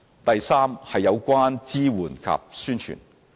第三，有關支援及宣傳。